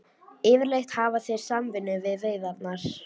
Yfirleitt hafa þeir samvinnu við veiðarnar.